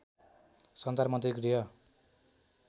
सञ्चार मन्त्री गृह